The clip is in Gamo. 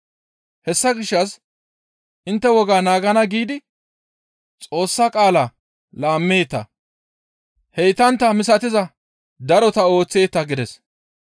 Hessa gishshas intte wogaa naagana giidi Xoossa qaalaa laammeeta. Heytantta misatiza darota ooththeeta» gides.